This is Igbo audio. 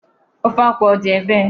Ofe akwụ ọ dị ebee?